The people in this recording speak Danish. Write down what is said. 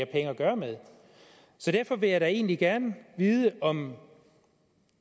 penge at gøre med så derfor vil jeg da egentlig gerne vide om